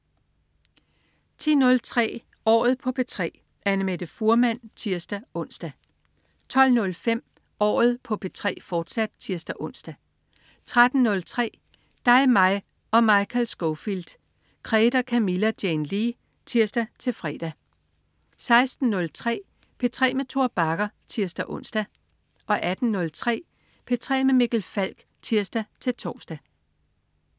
10.03 Året på P3. Annamette Fuhrmann (tirs-ons) 12.05 Året på P3, fortsat (tirs-ons) 13.03 Dig, mig og Michael Scofield. Krede og Camilla Jane Lea (tirs-fre) 16.03 P3 med Tor Bagger (tirs-ons) 18.03 P3 med Mikkel Falk (tirs-tors)